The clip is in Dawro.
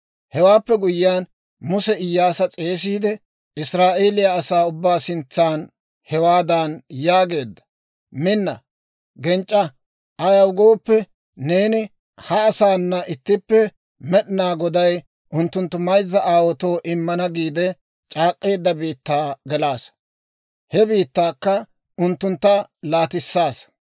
Hewaappe guyyiyaan, Muse Iyyaasa s'eesiide, Israa'eeliyaa asaa ubbaa sintsan hawaadan yaageedda, «Minna; genc'c'a. Ayaw gooppe, neeni ha asaanna ittippe Med'inaa Goday unttunttu mayzza aawaatoo immana giide c'aak'k'eedda biittaa gelissaasa; he biittaakka unttuntta laatissaasa.